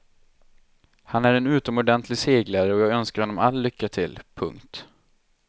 Han är en utomordentlig seglare och jag önskar honom all lycka till. punkt